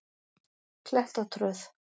Klettatröð